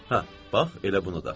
Hə, bax elə bunu da.